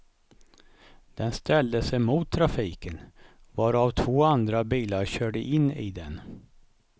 Den ställde sig mot trafiken, varav två andra bilar körde in i den.